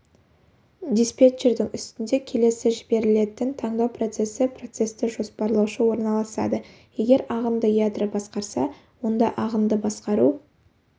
диспетчердің үстінде келесі жіберілетін тандау процесі процесті жоспарлаушы орналасады егер ағынды ядро басқарса онда ағынды басқару